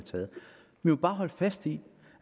må jo bare sige